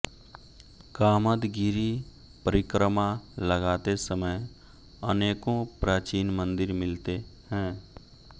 कामदगिरि परिक्रमा लगाते समय अनेकों प्राचीन मंदिर मिलते हैं